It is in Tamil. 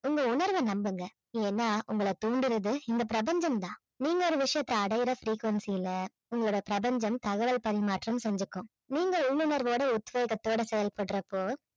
உங்க உணர்வை நம்புங்க ஏன்னா உங்கள தூண்டுறது இந்த பிரபஞ்சம் தான் நீங்க ஒரு விஷயத்தை அடைய frequency ல உங்களுடைய பிரபஞ்சம் தகவல் பரிமாற்றம் செஞ்சுக்கும் நீங்க உள்ளுணர்வோட உத்வேகத்தோட செயல்படுறப்போ